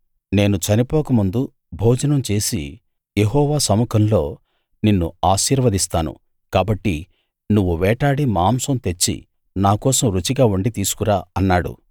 నేను చనిపోక ముందు భోజనం చేసి యెహోవా సముఖంలో నిన్ను ఆశీర్వదిస్తాను కాబట్టి నువ్వు వేటాడి మాంసం తెచ్చి నాకోసం రుచిగా వండి తీసుకురా అన్నాడు